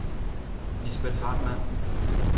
Lisbet Hartmann